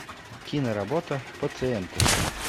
киноработа пациенты